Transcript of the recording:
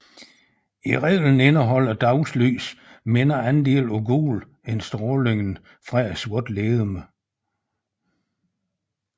I reglen indeholder dagslys mindre andel af gult end strålingen fra et sortlegeme